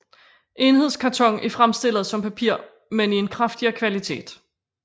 Enhedskarton er fremstillet som papir men i en kraftigere kvalitet